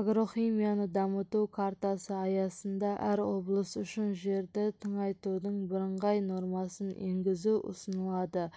агрохимияны дамыту картасы аясында әр облыс үшін жерді тыңайтудың бірыңғай нормасын енгізу ұсынылады